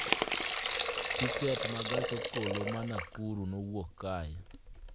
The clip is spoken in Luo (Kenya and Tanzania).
Tiket ma gach okoloma Nakuru kowuok kae